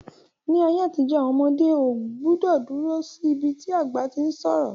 Ní ayé àtijó, àwọn ọmọdé ọ gbúdọ̀ dúró sí ibi tí àgbà tí ń sọ̀rọ̀